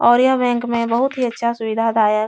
और यह बैंक में बहुत ही अच्छा सुविधादायक --